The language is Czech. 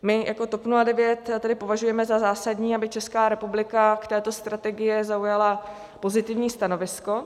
My jako TOP 09 tedy považujeme za zásadní, aby Česká republika k této strategii zaujala pozitivní stanovisko.